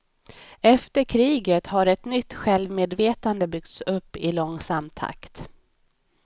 Efter kriget har ett nytt självmedvetande byggts upp i långsam takt.